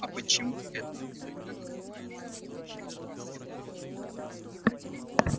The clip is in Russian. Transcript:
а почему это лыко называется волчьим спросила она